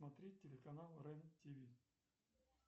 смотреть телеканал рен тв